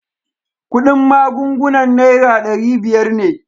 Kudin magungunan naira dari biyar ne.